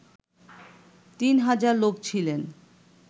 তিন হাজার লোক ছিলেন